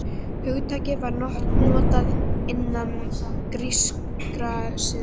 Hugtakið var notað innan grískrar siðfræði.